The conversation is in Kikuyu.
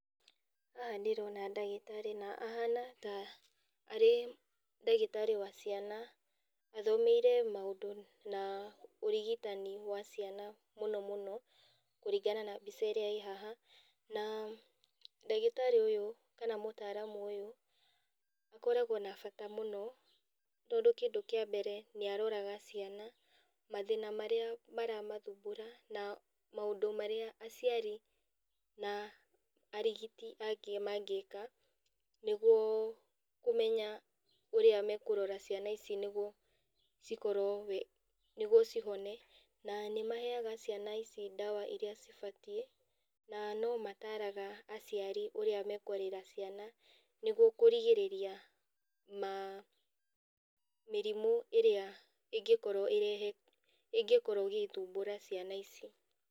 Haha ndĩrona ndagĩtarĩ na ahana ta arĩ ndagĩtarĩ wa ciana, athomeire maũndũ na ũrigitani wa ciana mũnomũno, kũringana na mbica ĩrĩa ĩ haha. Na ndagĩtarĩ ũyũ kana mũtaramu ũyũ akoragwo na bata mũno tondũ kĩndũ kĩa mbere nĩ aroraga ciana, mathĩna marĩa maramathumbũra, na maũndũ marĩa aciari na arigiti angĩ mangĩka nĩguo kũmenya ũrĩa mekũrora ciana ici nĩgwo cikorwo wĩ, nĩguo cihone, na nĩmaheaga ciana ici ndawa iria cibatiĩ, na no mataaraga aciari ũrĩa mekwarĩra ciana nĩguo kũrigĩrĩria ma, mĩrimũ ĩrĩa ĩngĩkorwo ĩrehe, ĩngĩkorwo ĩgĩthumbũra ciana ici.